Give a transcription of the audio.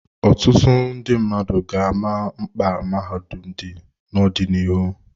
Ọtụtụ ndị mmadụ ga-ama mkpa mahadum dị n'ọdịnihu.